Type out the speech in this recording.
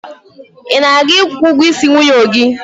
Ị na-aga ikwu ụgwọisi nwunye gị?